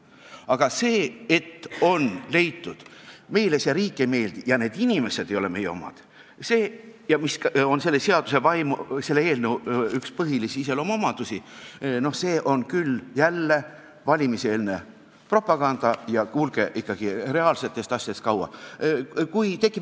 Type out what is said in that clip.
Aga see, et on leitud, et meile see riik ei meeldi ja need inimesed ei ole meie omad – ja see on üks selle eelnõu põhilisi iseloomulikke seisukohti –, noh, see on küll valimiseelne propaganda ja kuulge, ikkagi reaalsetest asjadest kaugel.